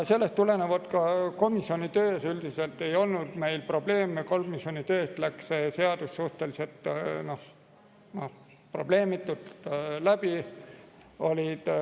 Komisjoni töös ei olnud meil probleeme, komisjonist läks see seadus suhteliselt probleemitult läbi.